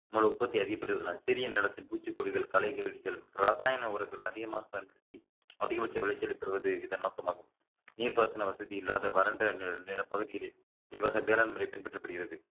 உற்பத்தி அதிகப்படுத்துவதால் சிறிய நிலத்தின் பூச்சிக்கொல்லிகள் களைகழிவுகள் ரசாயன உரங்கள் அதிகமாக பயன்படுத்தி அதிகபட்ச விளைச்சலை பெறுவது இதன் நோக்கமாகும் நீர்ப்பாசன வசதி இல்லாத வறண்ட நி~ நில பகுதியிலே இவ்வகை வேளாண் முறை பின்பற்றப்படுகிறது